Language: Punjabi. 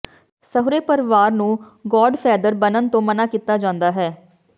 ਸਹੁਰੇ ਪਰਿਵਾਰ ਨੂੰ ਗੌਡਫੈਦਰ ਬਣਨ ਤੋਂ ਮਨ੍ਹਾ ਕੀਤਾ ਜਾਂਦਾ ਹੈ